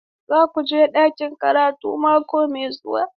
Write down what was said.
Za ku je ɗakin karatu mako mai zuwa?